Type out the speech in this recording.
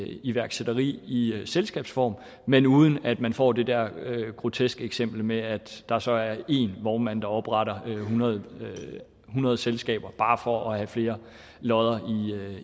iværksætteri i selskabsform men uden at man får det der groteske eksempel med at der så er én vognmand der opretter hundrede hundrede selskaber bare for at have flere lodder